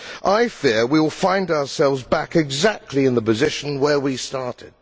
I fear that we will find ourselves back exactly in the position where we started.